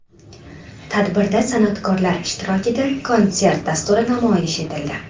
Tadbirda san’atkorlar ishtirokida konsert dasturi namoyish etildi.